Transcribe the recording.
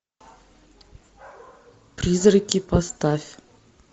призраки поставь